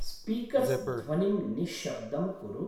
Speakers ध्वनिं निश्शब्दं कुरु।